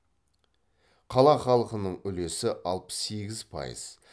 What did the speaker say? қала халқының үлесі алпыс сегіз пайыз